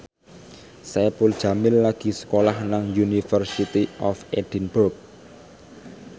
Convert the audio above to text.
Saipul Jamil lagi sekolah nang University of Edinburgh